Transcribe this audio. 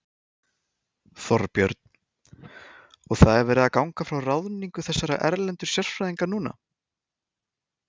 Þorbjörn: Og það er verið að ganga frá ráðningu þessara erlendu sérfræðinga núna?